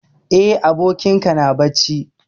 Eh, abokin ka na bacci.